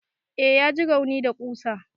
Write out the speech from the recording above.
Eh ya ji rauni da ƙusa.